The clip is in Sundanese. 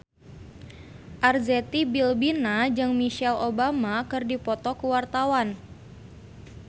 Arzetti Bilbina jeung Michelle Obama keur dipoto ku wartawan